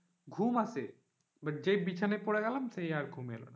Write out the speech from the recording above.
ঘুম আসে but আর যেই বিছানায় পড়ে গেলাম সেই আর ঘুম এলো না।